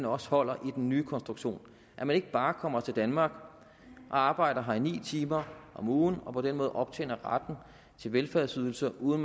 også holder i den nye konstruktion at man ikke bare kommer til danmark og arbejder her i ni timer om ugen og på den måde optjener retten til velfærdsydelser uden